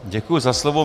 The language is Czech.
Děkuji za slovo.